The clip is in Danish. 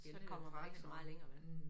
Så kommer man ikke så meget længere vel